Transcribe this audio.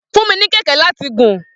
Fun mi ni kẹkẹ rẹ lati gùn.